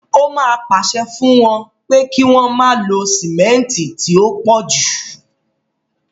Ó máa pàṣẹ fún wọn pé kí wọ́n má lo sìmẹ́ǹtì tí ó pọ̀ jù.